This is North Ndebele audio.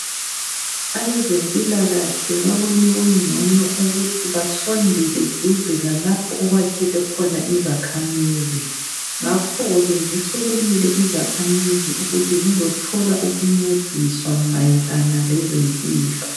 Abezempilakahle babone kungcono ukuthi basondele duze lalapho okwakhele khona izakhamizi. Ngakhoke, zisukumile izakhamizi ukuthi zizothola ukuncediswa mayelana lezempilo.